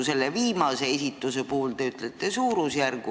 Selle viimase puhul te ütlete suurusjärgu.